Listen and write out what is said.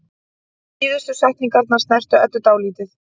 Síðustu setningarnar snertu Eddu dálítið.